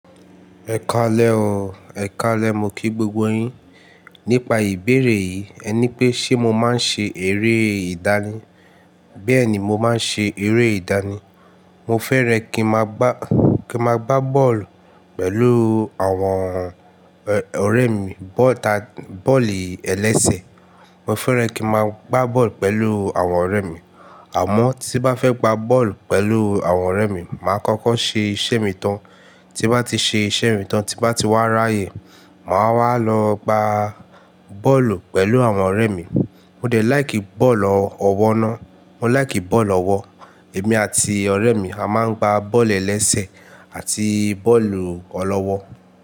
Ẹ kálẹ̀ o, ẹ̀ kálẹ̀ mo kí gbogbo yín. Nípa ìbéèrè yìí, ẹ ní pé ṣe mo máa ń ṣe eré ìdání? Bẹ́ẹ̀ni, mo máa ń ṣe eré ìdání. Mo fẹ́rẹ̀ kí n máa gbá, kí n máa gbá bọ́ọ̀lù pẹ̀lú àwọn ọ̀rẹ́ mi, bọ́ọ̀lù ẹlẹ́sẹ̀. Mo fẹ́ràn kí n máa gbá bọ́ọ̀lù pẹ̀lú àwọn ọ̀rẹ́ mi. Àmọ́ tí bá fẹ́ gbá bọ́ọ̀lù pẹ̀lú àwọn ọ̀rẹ́ mi, màá kọ́kọ́ ṣe iṣẹ́ mi tan. Ti bá ti ṣe iṣẹ́ mi tan, ti bá ti wá ráyẹ̀, màá wá lọ gbá bọ́ọ̀lù pẹ̀lú àwọn ọ̀rẹ́ mi. Mo dẹ̀ láìkì bọ́ọ̀lù ọ̀wọ́ náà. Mo láìkì bọ́ọ̀lù ọ̀wọ́. Èmi àti ọ̀rẹ́ mi, a máa ń gbá bọ́ọ̀lù ẹlẹ́sẹ̀ àti bọ́ọ̀lù ọ̀lọ́wọ́.